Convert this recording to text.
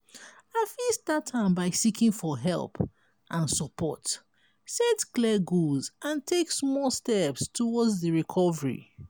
i fit start am by seeking for help and support set clear goals and take small steps towards di recovery.